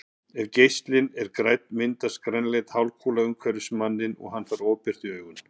Ef geislinn er grænn myndast grænleit hálfkúla umhverfis manninn og hann fær ofbirtu í augun.